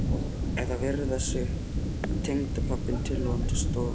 Eða að viðra sig upp við tengdapabbann tilvonandi, stórlaxinn.